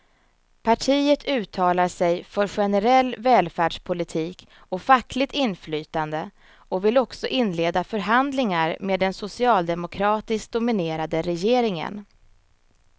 Partiet uttalar sig för generell välfärdspolitik och fackligt inflytande och vill också inleda förhandlingar med den socialdemokratiskt dominerade regeringen.